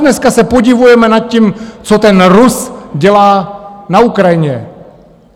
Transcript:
Dneska se podivujeme nad tím, co ten Rus dělá na Ukrajině.